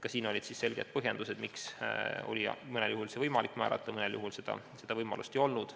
Ka siin olid selged põhjendused, miks mõnel juhul oli võimalik toetus määrata ja mõnel juhul seda võimalust ei olnud.